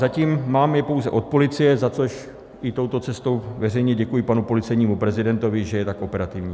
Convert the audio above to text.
Zatím je mám pouze od policie, za což i touto cestou veřejně děkuji panu policejnímu prezidentovi, že je tak operativní.